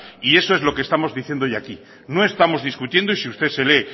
y eso es lo que estamos diciendo hoy aquí no estamos discutiendo y si usted se lee